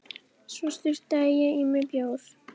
Svo sturtaði ég í mig bjór.